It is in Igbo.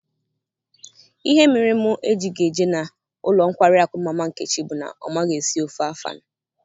Ihe mere mụ ejighi eje n'ụlọ nkwari akụ mama nkechi bu na ọ maghị esi ofe Afan